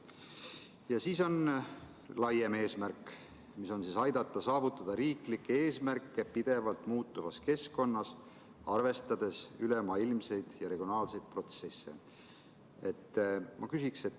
Ja siis on laiem eesmärk: aidata saavutada riiklikke eesmärke pidevalt muutuvas keskkonnas, arvestades ülemaailmseid ja regionaalseid protsesse.